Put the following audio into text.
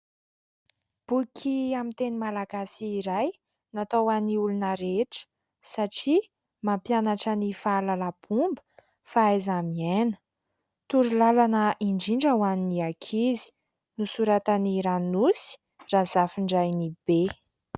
Boky amin'ny teny malagasy iray. Natao ho an'ny olona rehetra satria mampianatra ny fahalalam-pomba, fahaiza-miaina, torolalana indrindra ho an'ny ankizy. Nosoratan'i Ranosy Razafindrainibe.